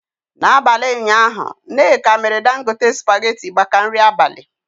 N'abalị ụnyaahụ nneka mere Dangote spaghetị maka nri abalị.